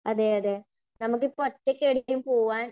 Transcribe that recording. അതെയതെ. നമുക്ക് ഇപ്പോൾ ഒറ്റയ്ക്ക് എവിടെയെങ്കിലും പോകാൻ.